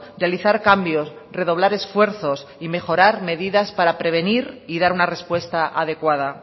realizar cambios redoblar esfuerzos y mejorar medidas para prevenir y dar una respuesta adecuada